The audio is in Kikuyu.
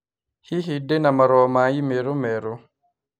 Hihi ndĩ na marũa ma i-mīrū merũ.